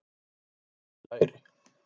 Hefur breið læri.